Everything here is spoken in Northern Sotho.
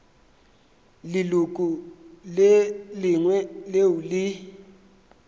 leloko le lengwe leo le